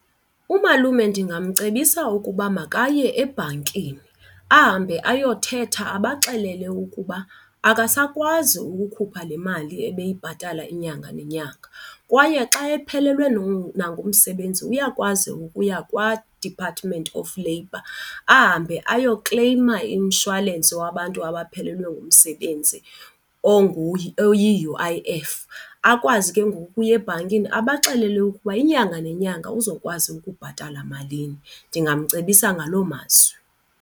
Umalume ndingamcebisa ukuba makaye ebhankini ahambe ayothetha abaxelele ukuba akasakwazi ukukhupha le mali ebeyibhatala inyanga nenyanga. Kwaye xa ephelelwe nangumsebenzi uyakwazi ukuya kwaDepartment of Labour ahambe ayokukleyima umshwalensi wabantu abaphelelwe ngumsebenzi oyi-U_I_F, akwazi ke ngoku ukuya ebhankini abaxelele ukuba inyanga nenyanga uzokwazi ukubhatala malini. Ndingamcebisa ngaloo mazwi.